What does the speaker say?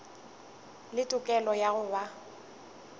le tokelo ya go ba